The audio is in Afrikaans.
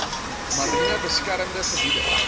mariene beskermde gebiede